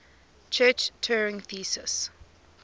church turing thesis